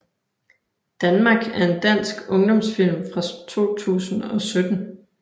Danmark er en dansk ungdomsfilm fra 2017